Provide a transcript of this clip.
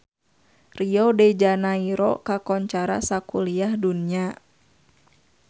Rio de Janairo kakoncara sakuliah dunya